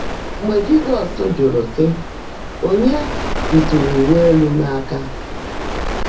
Mgbe Jị́zọ́s jụ́rụ́, sị́, “Ònyeé bìtụ́rụ́ úwé élú m áká?”